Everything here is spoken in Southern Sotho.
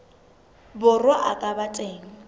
borwa a ka ba teng